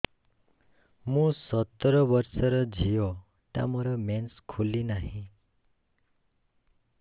ମୁ ସତର ବର୍ଷର ଝିଅ ଟା ମୋର ମେନ୍ସେସ ଖୁଲି ନାହିଁ